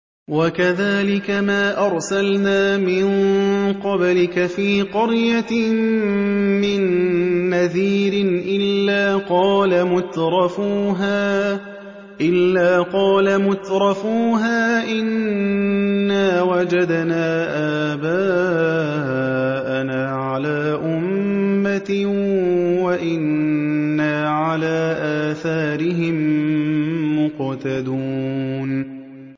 وَكَذَٰلِكَ مَا أَرْسَلْنَا مِن قَبْلِكَ فِي قَرْيَةٍ مِّن نَّذِيرٍ إِلَّا قَالَ مُتْرَفُوهَا إِنَّا وَجَدْنَا آبَاءَنَا عَلَىٰ أُمَّةٍ وَإِنَّا عَلَىٰ آثَارِهِم مُّقْتَدُونَ